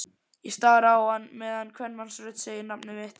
Ég stari á hann meðan kvenmannsrödd segir nafnið mitt.